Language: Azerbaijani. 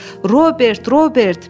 Robert, Robert!